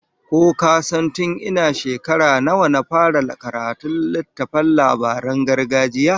Ko ka san tun ina shekara nawa na fara karanta littattafan labaran gargajiya?